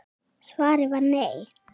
Svarið var nei.